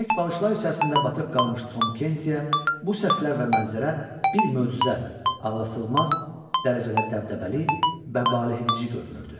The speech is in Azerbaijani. İpək balışlar içərisində batıb qalmış Tom Kentyə bu səslər və mənzərə bir möcüzə, ağlasığmaz dərəcədə dəbdəbəli və valehedici görünürdü.